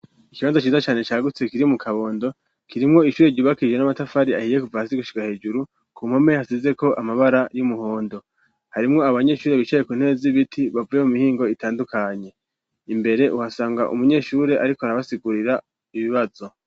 Ikibazo ciza cane cagutse kiri mu kabondo kirimwo ishure ryubakije n'amatafari ahiye kuvasi gushika hejuru ku mpome hasizeko amabara y'umuhondo harimwo abanyeshure bicaye ku ntere zibiti bavwye mu mihingo itandukanye imbere uhasanga umunyeshure, ariko arabasigurira ibibazo.